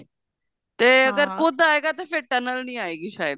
ਤੇ ਫੇਰ ਜੇ ਕੁਦ ਆਏਗਾ ਤੇ ਫੇਰ tunnel ਨੀ ਆਏਗੀ ਸ਼ਾਇਦ